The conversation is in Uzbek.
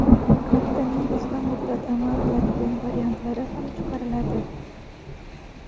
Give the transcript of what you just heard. Kartaning qisqa muddat amal qiladigan variantlari ham chiqariladi.